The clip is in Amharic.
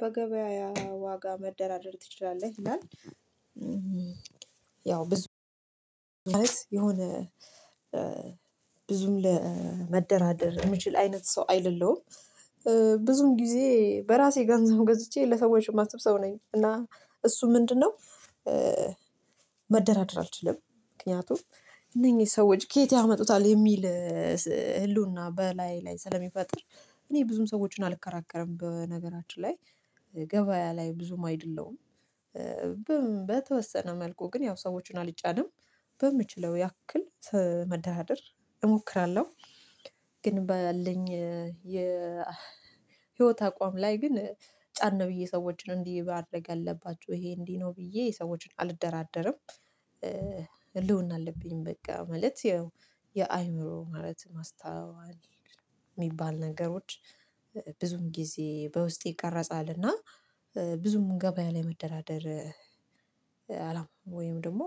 በገበያ ዋጋ መደራደር ትችላለህ? ይላል ያው ብዙ ማለት የሆነ ብዙም ለመደራደር የምችል አይነት ሰው አይደለሁም ብዙም ጊዜ በራሴ ገንዘብ ገዝቼ ለሰዎች የማስብ ሰው ነኝ እና እሱ ምንድነው መደራደር አልችልም ምክንያቱም እነኚህ ሰዎች ከየት ያመጡታል የሚል ህልውና በላይ ላይ ስለሚፈጥር እኔ ብዙም ሰዎችን አልከራከርም በነገራችን ላይ ገበያ ላይ ብዙም አይደለሁም በተወሰነ መልኩ ግን ያው ሰዎችን አልጫንም በምችለው ያክል መደራደር እሞክራለሁ ግን ባያለኝ የ ህይወት አቋም ላይ ግን ጫን ነው ብዬ ሰዎችን እንዲህ ማድርግ አለባችሁ ይሄ እንዲህ ነው ብዬ ሰዎችን አልደራደርም ህልውና አለብኝ በቃ ማለት ያው የአእምሮ ማለት ማስተዋል የሚባል ነገሮች ብዙም ጊዜ በውስጤ ይቀረጻል እና ብዙም ገበያ ላይ መደራደር አላውቅም ወይም ደግሞ